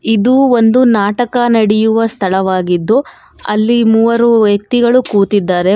ಇದು ಒಂದು ನಾಟಕ ನಡೆಯುವ ಸ್ಥಳವಾಗಿದ್ದು ಅಲ್ಲಿ ಮೂವರು ವ್ಯಕ್ತಿಗಳು ಕೂತಿದ್ದಾರೆ.